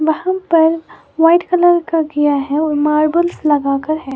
वहां पर white colour का किया है व मार्बल्स लगाकर है।